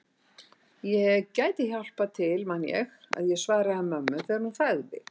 Ég gæti hjálpað til man ég að ég svaraði mömmu þegar hún sagði